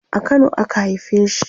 a Kano a ka haife shi